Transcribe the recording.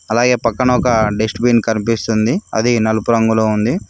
అలాగే పక్కన ఒక డస్ట్ బిన్ కనిపిస్తుంది అది నలుపు రంగులో ఉంది.